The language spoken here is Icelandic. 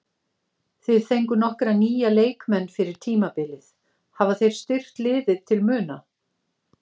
Þið fenguð nokkra nýja leikmenn fyrir tímabilið, hafa þeir styrkt liðið til muna?